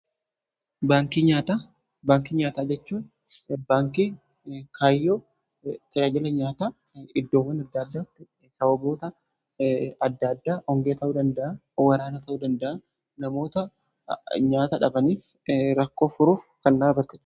Baankii nyaataa jechuu baankii kaayyoo tajaajila nyaata iddoowwan gara gadiitti sababoota adda addaa hongee ta'uu danda'a yookiin waraana ta'uu danda'a namoota nyaata dhabaniif rakkoo furuuf kan dhaabatteedha.